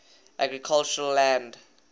agricultural land